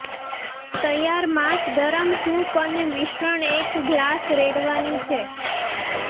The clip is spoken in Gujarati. તૈયાર માંસ ગરમ સૂપ અને મિશ્રણ એક ગ્લાસ રેડવાની છે